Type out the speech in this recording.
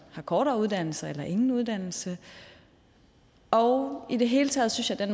har kortere uddannelser eller ingen uddannelse og i det hele taget synes jeg